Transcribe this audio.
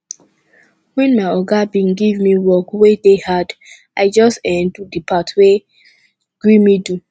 wen my oga bin give me work wey dey hard i just um do di part wey gree me do